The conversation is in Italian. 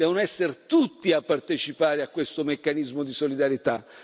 Devono essere tutti a partecipare a questo meccanismo di solidarietà.